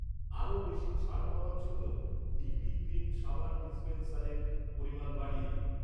আরও বেশি ছাড় পাওয়ার জন্য ডিপি ক্রিম সাবান ডিস্পেন্সারের পরিমাণ বাড়িয়ে দিন।